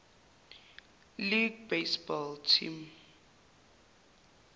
league baseball team